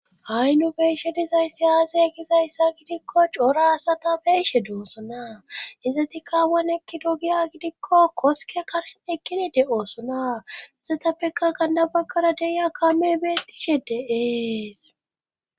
ha7i nu beeshe dizaysiy aze gizayssa gidikko cora asata beeshe doosona izetika awan ekkido giya gidikko koske karen ekkini de7oosona izetappeka gana baggara deya kame beettishe de7ees